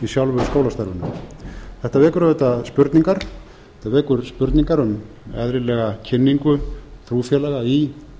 sjálfu skólastarfinu þetta vekur auðvitað spurningar um eðlilega kynningu trúfélaga í